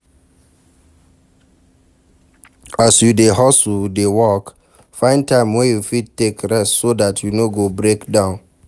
As you dey hustle dey work, find time wey you fit take rest so dat you no go break down